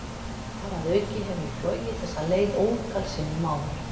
Þar að auki hef ég flogið þessa leið ótal sinnum áður.